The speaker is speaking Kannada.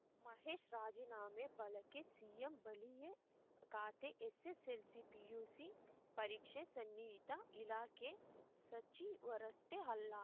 ಮಹೇಶ್‌ ರಾಜೀನಾಮೆ ಬಳಕೆ ಸಿಎಂ ಬಳಿಯೇ ಖಾತೆ ಎಸ್‌ಎಸ್‌ಎಲ್‌ಸಿ ಪಿಯು ಪರೀಕ್ಷೆ ಸನ್ನಿಹಿತ ಇಲಾಖೆ ಸಚಿವರಷ್ಟೇ ಅಲ್ಲ